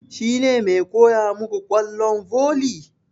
Shi ne ke koya muku ƙwallon volley?